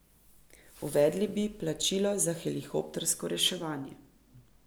Uvedli bi plačilo za helikoptersko reševanje.